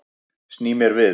Sný mér við.